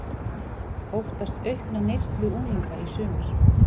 Óttast aukna neyslu unglinga í sumar